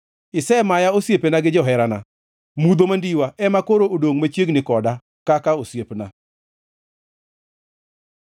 Isemaya osiepena gi joherana; mudho mandiwa ema koro odongʼ machiegni koda kaka osiepna.